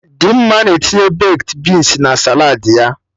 Dimma na-etinye bekdi binsi na saladị ya